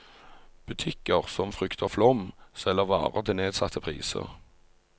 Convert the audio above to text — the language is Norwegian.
Butikker som frykter flom, selger varer til nedsatte priser.